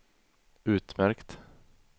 utmärkt